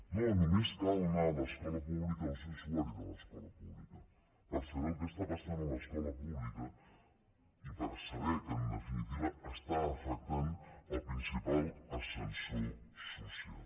no només cal anar a l’escola pública o ser usuari de l’escola pública per saber el que està passant a l’escola pública i per saber que en definitiva està afectant el principal ascensor social